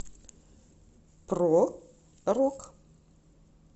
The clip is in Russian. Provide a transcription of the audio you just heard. про рок